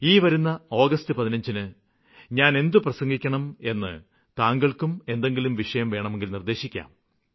ഈ വരുന്ന ആഗസ്റ്റ് 15ന് ഞാനെന്താണു പ്രസംഗിക്കേണ്ടതെന്ന് താങ്കള്ക്കും എന്തെങ്കിലും വിഷയം വേണമെങ്കില് നിര്ദ്ദേശിക്കാം